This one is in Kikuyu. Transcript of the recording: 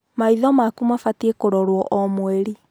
Maitho makuu mabatiĩ kũrorwo omweri.